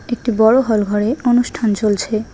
এটি একটি বড় হলঘরে অনুষ্ঠান চলছে।